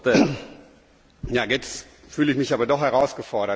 Jetzt fühle ich mich aber doch herausgefordert, Kollegin Foster.